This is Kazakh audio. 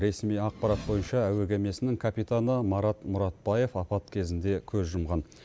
ресми ақпарат бойынша әуе кемесінің капитаны марат мұратбаев апат кезінде көз жұмған